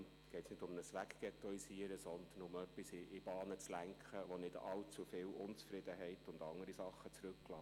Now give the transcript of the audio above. Deshalb geht es nicht um ein «weggettoisieren», sondern es geht darum, etwas in die Bahnen zu lenken, was nicht allzu viel Unzufriedenheit und andere Dinge zurücklässt.